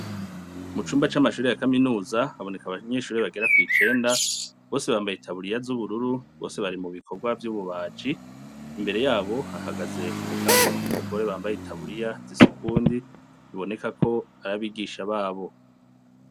Mu cumba c'amashure ya kaminuza haboneka abantu bagera kw'icenda bose bambaye itaburiya z'ubururu bari mu bikorwa vy'ububaji, imbere yabo hahagaze umugabo n'umugore bambaye itaburiya zisa ukundi biboneka ko ar'abigisha babo.